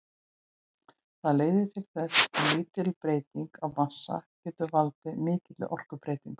Það leiðir til þess að lítil breyting á massa getur valdið mikilli orkubreytingu.